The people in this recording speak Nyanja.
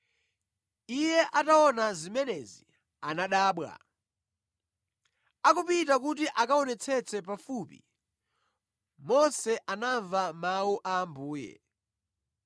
Iye ataona zimenezi, anadabwa. Akupita kuti akaonetsetse pafupi, Mose anamva mawu a Ambuye: